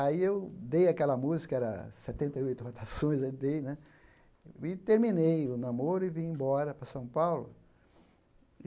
Aí eu dei aquela música, era setenta e oito rotações aí dei né, e terminei o namoro e vim embora para São Paulo.